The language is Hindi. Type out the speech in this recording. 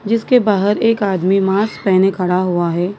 जिसके बाहर एक आदमी मास पहने खड़ा हुआ है।